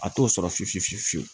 A t'o sɔrɔ fiyefi fiye fiye fiyewu